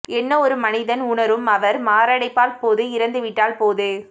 என்ன ஒரு மனிதன் உணரும் அவர் மாரடைப்பால் போது இறந்துவிட்டால் போது